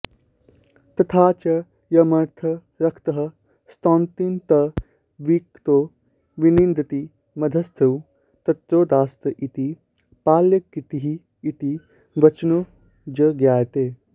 तथा च यमर्थं रक्तः स्तौति तं विरक्तो विनिन्दति मध्यस्थस्तु तत्रोदास्त इति पाल्यकीतिः इति वचनोज्ज्ञायते